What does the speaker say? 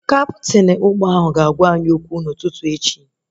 Kaptịn ụgbọ ahụ ga-agwa anyị okwu n'ụtụtụ echi